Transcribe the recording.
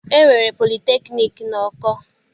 E nwere politekniiki n'Oko.